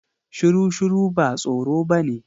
Shuru shuru ba tsoro bane.